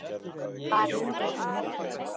Var heppin að hitta hann.